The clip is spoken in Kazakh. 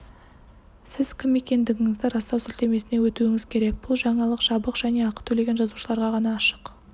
сіз кім екендігіңізді растау сілтемесіне өтуіңіз керек бұл жаңалық жабық және ақы төлеген жазылушыларға ғана ашық